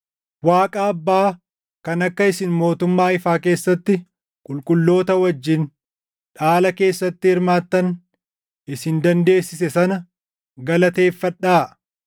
Waaqa Abbaa kan akka isin mootummaa ifaa keessatti qulqulloota wajjin dhaala keessatti hirmaattan isin dandeessise sana galateeffadhaa.